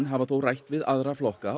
hafa þó rætt við aðra flokka